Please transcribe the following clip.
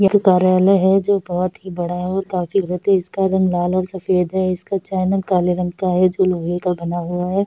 यह कार्यालय है जो बहुत ही बड़ा है और काफी इसका रंग लाल और सफेद रंग है इसका चैनल काले रंग का है जो लोहे का बना हुआ है।